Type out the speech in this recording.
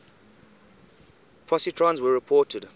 positrons were reported